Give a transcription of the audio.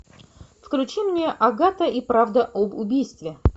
включи мне агата и правда об убийстве